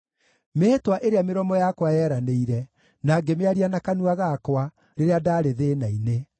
mĩĩhĩtwa ĩrĩa mĩromo yakwa yeranĩire, na ngĩmĩaria na kanua gakwa, rĩrĩa ndaarĩ thĩĩna-inĩ.